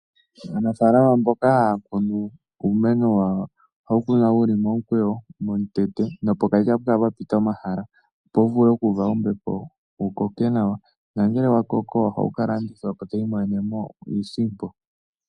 Aanafalama mboka haya kunu uumeno wawo ohawu kunwa wu li momukweyo nopokati ohapu kala pwa pita omahala, opo wu vule oku uva ombepo wu koke nawa nongele wa koko ohawu ka landithwa po taya imonene mo iisimpo.